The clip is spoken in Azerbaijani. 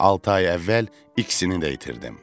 Altı ay əvvəl ikisini də itirdim.